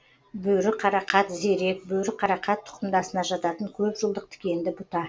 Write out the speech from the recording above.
бөріқарақат зерек бөріқарақат тұқымдасына жататын көп жылдық тікенді бұта